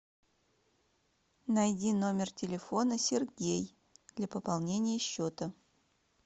найди номер телефона сергей для пополнения счета